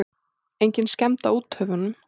Engin skemmd á úthöfunum.